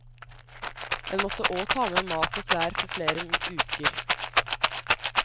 En måtte òg ta med mat og klær for flere uker.